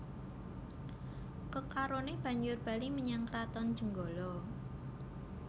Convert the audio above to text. Kekaroné banjur bali menyang Kraton Jenggala